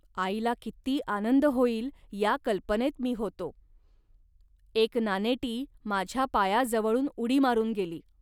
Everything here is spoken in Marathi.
आईला किती आनंद होईल, या कल्पनेत मी होतो. एक नानेटी माझ्या पायाजवळून उडी मारून गेली